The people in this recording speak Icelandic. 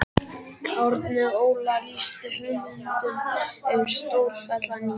Árni Óla lýsti hugmyndum um stórfellda nýtingu